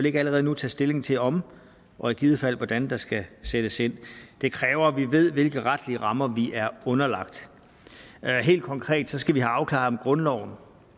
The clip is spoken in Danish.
ikke allerede nu tage stilling til om og i givet fald hvordan der skal sættes ind det kræver at vi ved hvilke retlige rammer vi er underlagt helt konkret skal vi have afklaret om grundloven